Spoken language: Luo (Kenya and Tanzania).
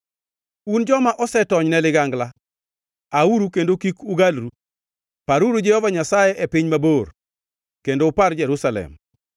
Un joma osetonyne ligangla, auru kendo kik ugalru! Paruru Jehova Nyasaye e piny mabor, kendo upar Jerusalem.”